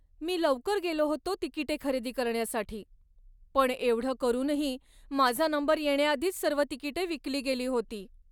मी लवकर गेलो होतो तिकिटे खरेदी करण्यासाठी, पण एवढं करूनही माझा नंबर येण्याआधीच सर्व तिकिटे विकली गेली होती.